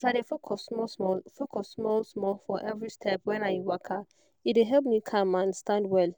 as i dey focus small small focus small small for every step when i waka e dey help me calm and stand well